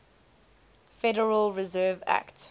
federal reserve act